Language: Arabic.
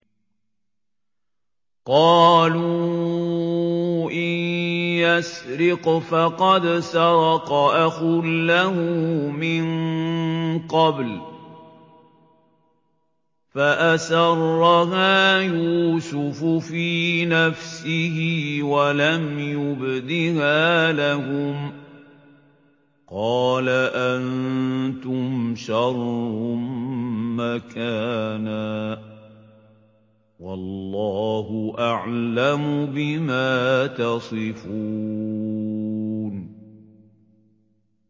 ۞ قَالُوا إِن يَسْرِقْ فَقَدْ سَرَقَ أَخٌ لَّهُ مِن قَبْلُ ۚ فَأَسَرَّهَا يُوسُفُ فِي نَفْسِهِ وَلَمْ يُبْدِهَا لَهُمْ ۚ قَالَ أَنتُمْ شَرٌّ مَّكَانًا ۖ وَاللَّهُ أَعْلَمُ بِمَا تَصِفُونَ